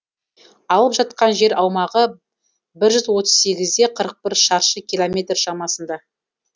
алып жатқан жер аумағы бір жүз отыз сегіз де қырық бір шаршы километр шамасында